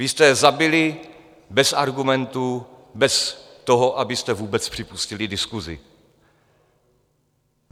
Vy jste je zabili bez argumentů, bez toho, abyste vůbec připustili diskusi.